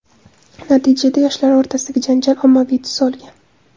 Natijada, yoshlar o‘rtasidagi janjal ommaviy tus olgan.